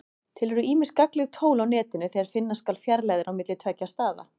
Til eru ýmis gagnleg tól á Netinu þegar finna skal fjarlægðir á milli tveggja staða.